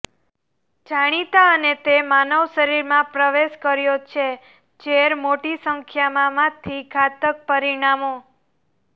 જાણીતા અને તે માનવ શરીરમાં પ્રવેશ કર્યો છે ઝેર મોટી સંખ્યામાં માંથી ઘાતક પરિણામો